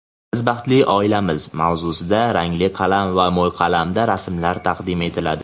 "Biz baxtli oilamiz"-mavzusida rangli qalam va mo‘yqalamda rasmlar taqdim etiladi.